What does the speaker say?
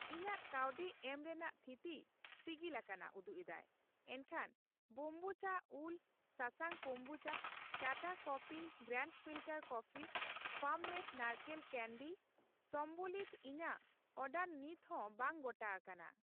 ᱤᱧᱟᱜ ᱠᱟᱹᱣᱰᱤ ᱮᱢ ᱨᱮᱱᱟᱜ ᱛᱷᱤᱛᱤ ᱥᱤᱜᱤᱞᱟᱠᱟᱱᱟ ᱩᱫᱩᱜ ᱮᱫᱟᱭ, ᱮᱱᱠᱷᱟᱱ ᱵᱚᱢᱵᱩᱪᱷᱟ ᱩᱞ ᱥᱟᱥᱟᱝ ᱠᱚᱢᱵᱩᱪᱟ, Tata coffee grand filter coffee farm made ᱱᱟᱲᱠᱳᱞ ᱠᱟᱱᱰᱤ ᱥᱚᱢᱵᱚᱞᱤᱛᱚ ᱤᱧᱟᱜ ᱚᱰᱟᱨ ᱱᱤᱛᱦᱚ ᱵᱟᱝ ᱜᱚᱴᱟ ᱟᱠᱟᱱᱟ ᱾